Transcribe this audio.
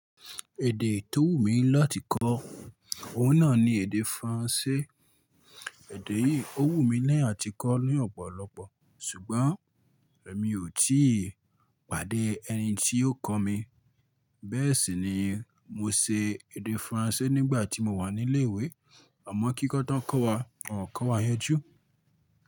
Èdè tó wù mí láti kọ, òun náà ni èdè Faransé. Èdè yìí ó wù mí lẹ́yìn àti kọ́ ní ọ̀pọ̀lọpọ̀, ṣùgbọ́n mi ò tíì pàdé ẹni tí yóò kọ́ mi. Bẹ́ẹ̀ sì ni mo ṣe èdè Faransé nígbà tí mo wà ní ilé ìwé. Ọmọ kíkọ́ tán kọ́ wa, wọn kò kọ́ wa yanjú.